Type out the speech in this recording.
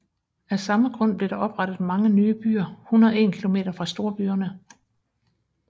Af samme grund blev der oprettet mange nye byer 101 km fra storbyerne